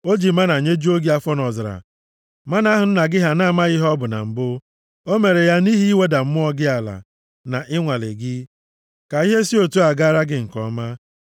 O ji mánà nyejuo gị afọ nʼọzara, mánà ahụ nna gị ha na-amaghị ihe ọ bụ na mbụ. O mere ya nʼihi iweda mmụọ gị ala, na ịnwale gị, ka ihe si otu a gaara gị nke ọma.